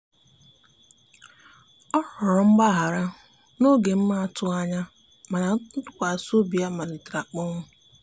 ọ rụrọ mgbahara na oge m atughi anya mana ntụkwasi obi ya malitere akponwụ